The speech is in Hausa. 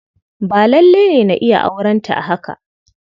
Ba lalle ne na iya aurenta a haka.